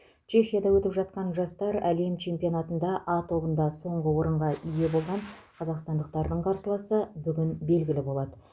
чехияда өтіп жатқан жастар әлем чемпионатында а тобында соңғы орынға ие болған қазақстандықтардың қарсыласы бүгін белгілі болады